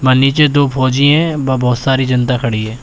नीचे दो फौजी हैं ब बहुत सारी जनता खड़ी है।